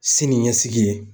Sini ɲɛsigi ye.